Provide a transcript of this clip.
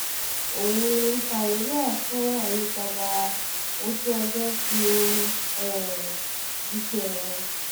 ohun-un caribbean fún àyípadà ojú-ọjọ́ fi orin um jíṣẹ̀ẹ́ wọn